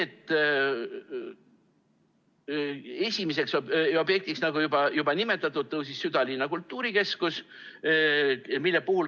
Esimeseks objektiks, nagu juba nimetatud, tõusis südalinna kultuurikeskus.